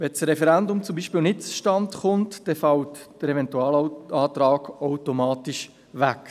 Kommt das Referendum zum Beispiel nicht zustande, dann fällt der Eventualantrag automatisch weg.